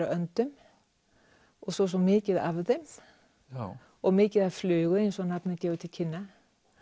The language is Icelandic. af öndum og svo er svo mikið af þeim og mikið af flugu eins og nafnið gefur til kynna